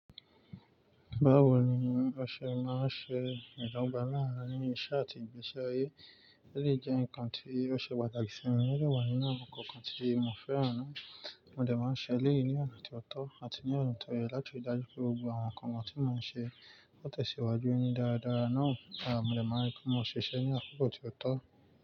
Báwo ni o ṣe máa ń ṣe ìdọgba láàárín iṣẹ́ àti ìgbésí ayé, o lè jẹ nǹkan tí ó ṣe pàtàkì sí mi, o dẹ wà nínú àwọn ǹkan kan tí mo fẹ́ràn náà. Mo dẹ̀ máa ń ṣe eléyìí ní ọna tí ó tọ́ àti ní ọna ti ó yẹ láti rí i dájú pé gbogbo àwọn ǹkan tí mo ń ṣe ó tẹ̀síwájú ní dáradára náà. Mo dẹ̀ máa n rí pé mo ṣiṣẹ́ ní àkókò tí ó tọ́